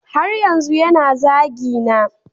Har yanzu yana zagina